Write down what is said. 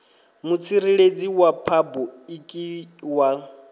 mutsireledzi wa phabu iki wa